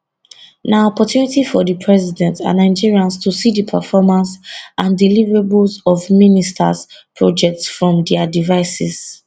na opportunity for di president and nigerians to see di performance and deliverables of ministers projects from dia devices